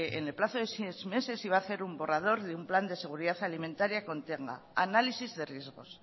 en el plazo de seis meses se iba a hacer un borrador de un plan de seguridad alimentaria que contenga